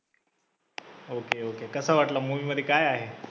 ok ok कसा वाटला movie मध्ये काय आहे.